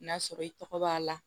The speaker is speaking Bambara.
N'a sɔrɔ i tɔgɔ b'a la